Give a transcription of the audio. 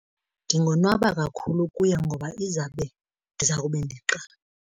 Ndingonwaba kakhulu ukuya ngoba izawube, ndizawube ndiqala.